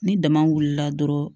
Ni dama wulila dɔrɔn